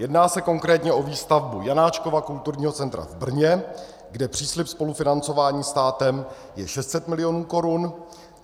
Jedná se konkrétně o výstavbu Janáčkova kulturního centra v Brně, kde příslib spolufinancování státem je 600 mil. korun.